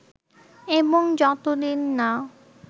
এবং যতদিন না